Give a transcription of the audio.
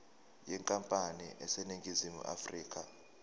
yenkampani eseningizimu afrika